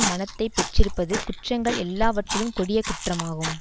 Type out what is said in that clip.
மனத்தை பெற்றிருப்பது குற்றங்கள் எல்லாவற்றிலும் கொடிய குற்றமாகும்